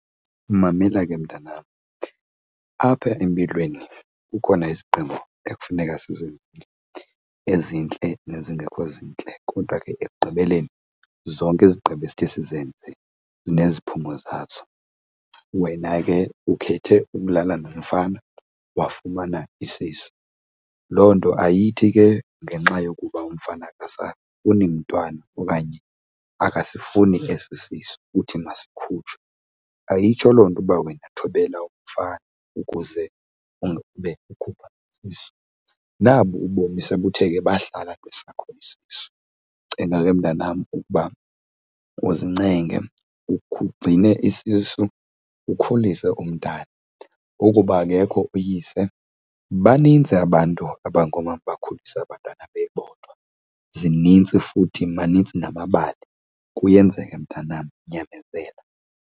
Mamela ke mntanam, apha empilweni kukhona izigqibo ekufuneka sizenze, ezintle nezingekho zintle, kodwa ke ekugqibeleni zonke izigqibo esithe sizenze zineziphumo zazo. Wena ke ukhethe ukulala namfana wafumana isisu. Loo nto ayithi ke ngenxa yokuba umfana akasafuni umntwana okanye akasifuni esisisu, uthi masikhutshwe. Ayitsho loo nto uba wena thobela umfana ukuze ungabe ukhupha isisu. Nabo ubomi sebuthe ke bahlala kwesakhono isisu, ndicela ke mntanam ukuba uzinenge ugcine isisu ukhulise umntana. Ukuba akekho uyise banintsi abantu abangoomama bakhulise abantwana bebodwa, zinintsi futhi manintsi namabali. Kuyenzeka mntanam, nyamezela.